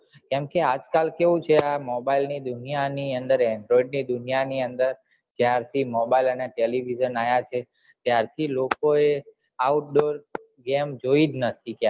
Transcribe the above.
કેમ કે આજ કાલ કેવું છે mobile ની દુનિયા ની અંદર android ની દુનિયા ની અંદર જયાર થી mobile અને television આયા છે ત્યાર થી લોકો એ outdoor game જોઈ જ નથી